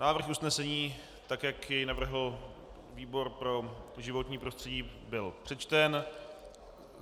Návrh usnesení, tak jak jej navrhl výbor pro životní prostředí, byl přečten.